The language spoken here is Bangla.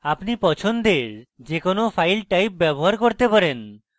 আপনি পছন্দের যে কোনো file type ব্যবহার করতে পারেন